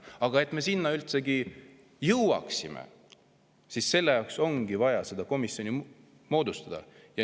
Aga et me sinna üldsegi jõuaksime, selle jaoks ongi vaja see komisjon moodustada.